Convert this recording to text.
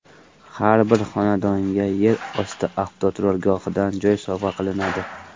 Har bir xonadonga yer osti avtoturargohidan joy sovg‘a qilinadi!